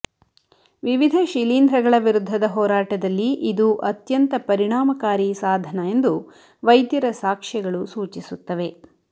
ವಿವಿಧ ಶಿಲೀಂಧ್ರಗಳ ವಿರುದ್ಧದ ಹೋರಾಟದಲ್ಲಿ ಇದು ಅತ್ಯಂತ ಪರಿಣಾಮಕಾರಿ ಸಾಧನ ಎಂದು ವೈದ್ಯರ ಸಾಕ್ಷ್ಯಗಳು ಸೂಚಿಸುತ್ತವೆ